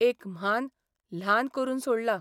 एक म्हान ल्हान करून सोडला...